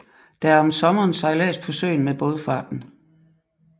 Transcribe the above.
Der er om sommeren sejlads på søen med Baadfarten